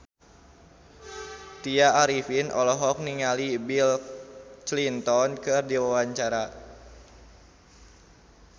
Tya Arifin olohok ningali Bill Clinton keur diwawancara